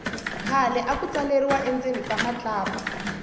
khale aku tsaleriwa endzeni ka matlapa